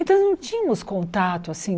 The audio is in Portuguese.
Então não tínhamos contato, assim...